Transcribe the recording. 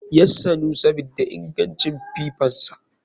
Yassanu sabida ingancin fifansa.